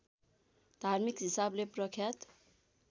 धार्मिक हिसाबले प्रख्यात